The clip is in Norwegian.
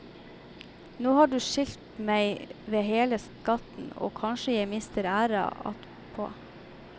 Nå har du skilt meg ved hele skatten, og kanskje jeg mister æra attpå.